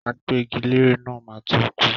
Agbẹ́gilére náà máa to kú.